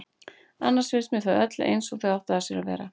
Annars finnst mér þau öll eins og þau áttu að sér.